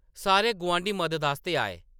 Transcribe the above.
सारे गुआंढी मदद आस्तै आए ।